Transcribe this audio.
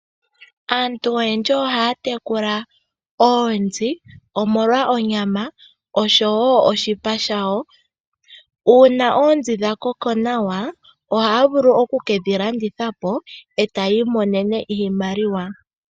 Aantu oyendji ohaya tekula oonzi omolwa onyama oshowoo oshipa shayo . Uuna oonzi dhakoko nawa, ohaya vulu okukedhi landithapo etaya imonene iimaliwa.